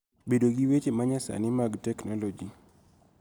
Bedo gi weche ma nyasani mag teknoloji